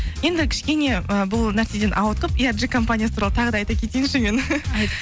енді кішкене ы бұл нәрседен ауытқып компаниясы туралы тағы да айта кетейінші мен